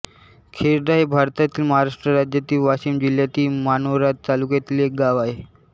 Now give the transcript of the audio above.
खेरडा हे भारतातील महाराष्ट्र राज्यातील वाशिम जिल्ह्यातील मानोरा तालुक्यातील एक गाव आहे